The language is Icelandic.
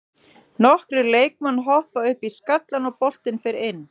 Nokkrir leikmann hoppa upp í skallann og boltinn fer inn.